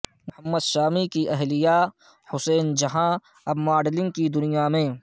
محمد شامی کی اہلیہ حسین جہاں اب ماڈلنگ کی دنیا میں